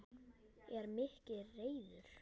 En Mikki ræður.